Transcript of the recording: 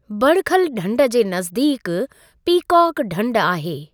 बड़खल ढंढ जे नज़दीक पीकॉक ढंढ आहे।